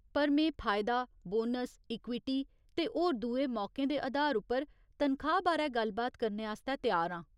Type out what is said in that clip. पर में फायदा, बोनस, इक्विटी ते होर दुए मौकें दे अधार उप्पर तनखाह् बारै गल्ल बात करने आस्तै त्यार आं।